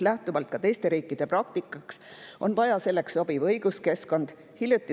Lähtuvalt ka teiste riikide praktikast on vaja luua selleks sobiv õiguskeskkond.